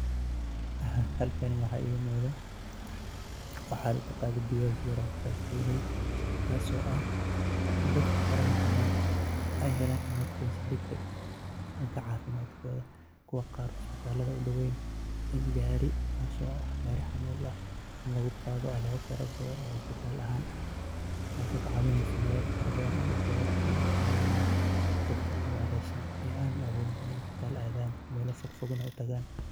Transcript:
Halkani waxaiga muqdah waxay utqanie oo kaso ah dadka farahabadan ay helan emergency degdeg ah danga cafimdkotha kuwa qaar isbitalada u down in gaari kaso lagu Qathoh xamol aah isbital ahaan kaso kacawineysoh inu caweyoh dadka meel fogfig isbital u tagan inu caweyoh